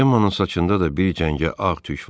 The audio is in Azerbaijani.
Cemonun saçında da bir cəngə ağ tük var.